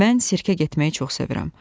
Mən sirkəyə getməyi çox sevirəm.